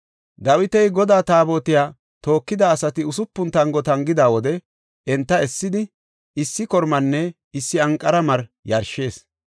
Dawiti Godaa Taabotiya tookida asati usupuna tango tangida wode enta essidi, issi kormanne issi anqara mari yarshis.